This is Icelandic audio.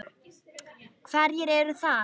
Hverjir eru það?